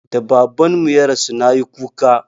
Da Babanmu ya rasu na yi kuka.